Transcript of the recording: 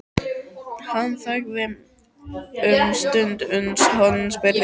Hann þagði um stund uns hann spurði